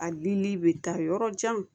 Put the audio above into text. A dunni bɛ taa yɔrɔ jan